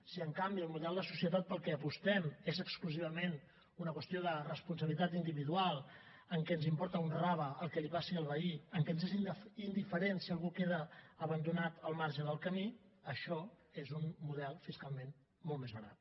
si en canvi el model de societat pel qual apostem és exclusivament una qüestió de responsabilitat individual en què ens importa un rave el que li passi al veí en què ens és indiferent si algú queda abandonat al marge del camí això és un model fiscalment molt més barat